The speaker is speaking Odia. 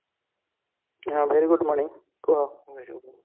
ହଁ very good morning କୁହ